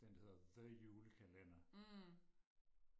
den der hedder the julekalender